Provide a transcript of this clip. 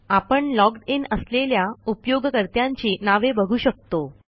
आपण logged in असलेल्या उपयोगकर्त्यांची नावे बघू शकतो